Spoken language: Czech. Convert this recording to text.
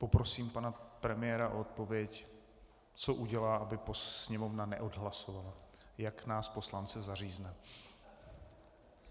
Poprosím pana premiéra o odpověď, co udělá, aby Sněmovna neodhlasovala, jak nás poslance zařízne.